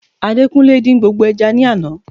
Adekunle din gbogbo eja ni àná